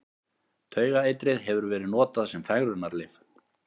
Taugaeitrið hefur verið notað sem fegrunarlyf.